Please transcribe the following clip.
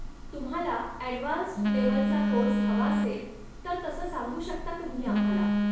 तुम्हाला ॲडवान्स्ड लेव्हलचा कोर्स हवा असेल, तर तसं सांगू शकता तुम्ही आम्हाला.